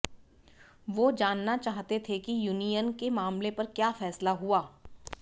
वो जानना चाहते थे कि यूनियन के मामले पर क्या फैसला हुआ